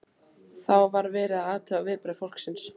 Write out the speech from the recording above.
Þá var verið að athuga viðbrögð fólksins.